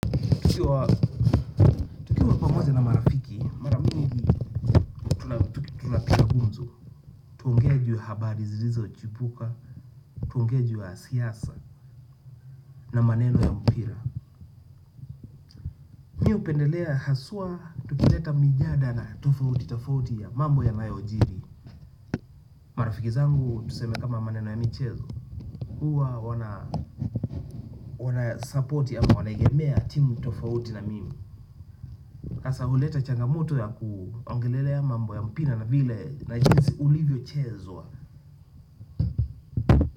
Nikiwa pamoja na marafiki tunapiga gumzo. Tuongee juu ya habari zilizochipuka, tuongee juu ya siasa na maneno ya mpira. Mi hupendelea haswa tukileta mijadala tofauti tofauti ya mambo yanayojiri. Marafiki zangu tuseme kama maneno ya michezo. Kuwa wanasupporti ama wanaegemea timu tofauti na mimi. Hasa huleta changamoto ya kuongelelea mambo ya mpira na vile na jinsi ulivyochezwa.